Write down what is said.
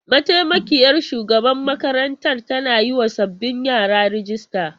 Mataimakiyar shugaban makarantar tana yiwa sabbin yara rijista.